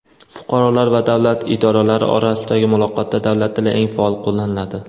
Fuqarolar va davlat idoralari orasidagi muloqotda davlat tili eng faol qo‘llaniladi.